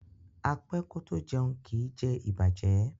A pẹ́ kó tó jẹun, kí ì jẹ ìbàjẹ́